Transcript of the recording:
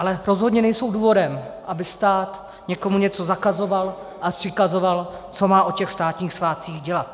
Ale rozhodně nejsou důvodem, aby stát někomu něco zakazoval a přikazoval, co má o těch státních svátcích dělat.